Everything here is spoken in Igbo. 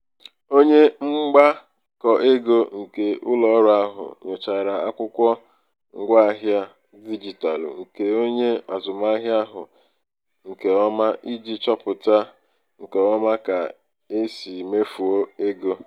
onye mgbakọego nke ụlọọrụ ahụ nyochara akwụkwọ ngwaahịa dijitalụ nke onye azụmahịa ahụ nke ọma iji chọpụta nke ọma ka e si mefuo ego.